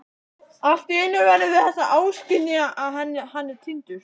Alltíeinu verðum við þess áskynja að hann er týndur.